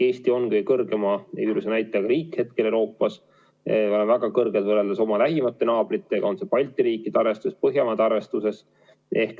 Eesti on kõige kõrgema viirusenäitajaga riik Euroopas, see on väga kõrge võrreldes meie lähimate naabritega, on see Balti riikide arvestuses või Põhjamaade arvestuses.